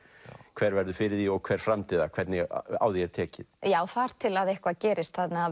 hver verður fyrir því og hver framdi það hvernig á því er tekið þar til að eitthvað gerist þannig að